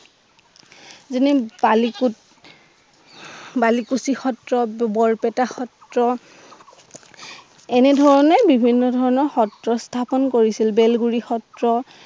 বালিপুচি বালিপুচি সএ, বৰপেটা সএ এনেধৰণে বিভিন্ন ধৰণৰ সএ স্থাপন কৰিছিল বেলগুৰি সত্ৰ